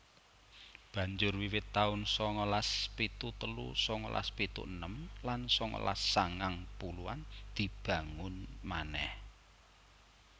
Banjur wiwit taun sangalas pitu telu sangalas pitu enem lan sangalas sangang puluhan dibangun manèh